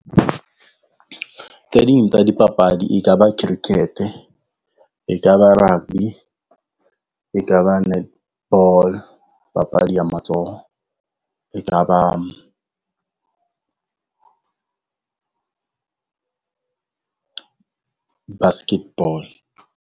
Tse ding tsa di papadi e ka ba cricket-e, ka ba rugby, e ka ba netball papadi ya matsoho, e ka ba basketball.